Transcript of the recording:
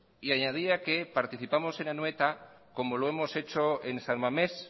y añadía que participamos en anoeta como lo hemos hecho en san mamés